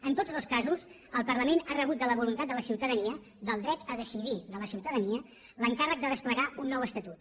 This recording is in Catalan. en tots dos casos el parlament ha rebut de la voluntat de la ciutadania del dret a decidir de la ciutadania l’encàrrec de desplegar un nou estatut